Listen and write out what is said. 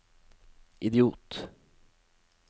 idiot